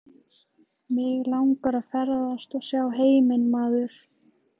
Mig langar að ferðast og sjá heiminn maður.